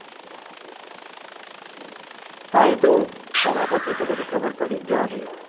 હા એતો થયા પછી તો બધું ખબર પડી જ જવાનું છે